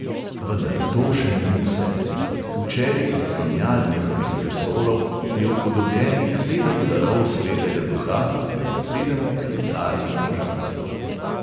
Vendar to še ni vse: v čelih naslonjal njihovih prestolov je upodobljenih sedem darov svetega duha in sedem planetarnih božanstev.